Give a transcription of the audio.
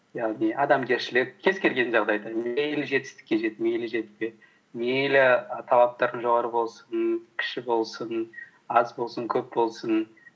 яғни адамгершілік кез келген жағдайда мейлі жетістікке жет мейлі жетпе мейлі і талаптарың жоғары болсын кіші болсын аз болсын көп болсын